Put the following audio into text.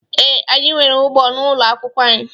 Ee, anyị nwere ugbo n'ụlọ akwụkwọ anyị.